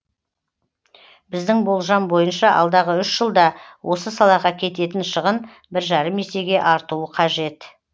біздің болжам бойынша алдағы үш жылда осы салаға кететін шығын бір жарым есеге артуы қажет